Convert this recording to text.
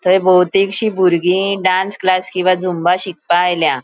थय बोवतिगशी बुर्गी डांस क्लास किंवा झुम्बा शिकपा आयल्या.